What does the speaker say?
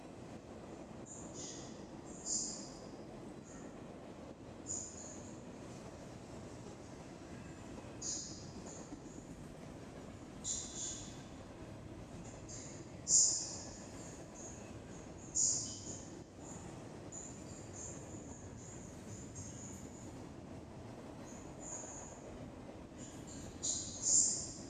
Lawishsha qooxeessa boshshanno sagalenna waa burquuqisanno teenneho yemahehonna biinnete sagale galtannowanna sirtannowa ikkatenni addi addi taraawanno dhibbira reqecci assanno Lawishsha.